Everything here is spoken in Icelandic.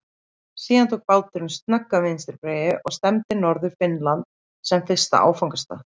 Síðan tók báturinn snögga vinstri beygju og stefndi á norður Finnland sem fyrsta áfangastað.